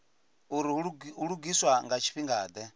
uri hu lugiswa nga tshifhingade